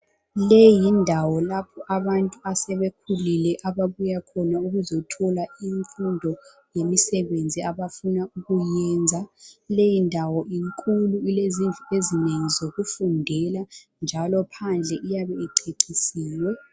Leyi yindawo lapho abantu asebekhulile ababuya khona ukuzothola imfundo lemisebenzi abafuna ukuyenza. Leyindawo inkulu ilezindlu ezinengi zokufundela njalo phandle iyabe icecisiwe.